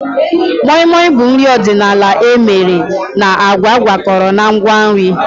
Moi Moi bụ nri ọdịnala emere na agwa akworakwo na ngwa nri